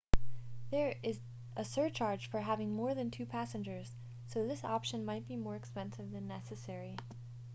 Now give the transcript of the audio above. there is a surcharge for having more than 2 passengers so this option might be more expensive than necessary